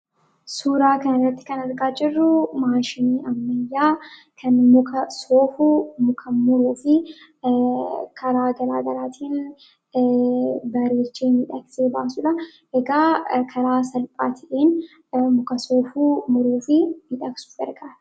Suuraa kana irratti kan argaa jirru maashinii ammayyaa kan muka soofu, kan muruufikaraa gara garaatin bareechee: miidhagsee baasuudhaan karaa salphaa ta'een soofuu, muruufi miidhagsuuf gargaara.